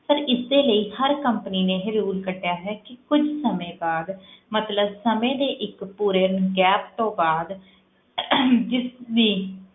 Sir ਇਸਦੇ ਲਈ ਹਰ company ਨੇ ਇਹ rule ਕੱਢਿਆ ਹੈ ਕਿ ਕੁੱਝ ਸਮੇਂ ਬਾਅਦ ਮਤਲਬ ਸਮੇਂ ਦੇ ਇੱਕ ਪੂਰੇ gap ਤੋਂ ਬਾਅਦ ਜਿਸ ਨੇ